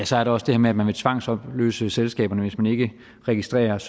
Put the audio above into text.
så er der også det med at man vil tvangsopløse selskaberne hvis man ikke registreres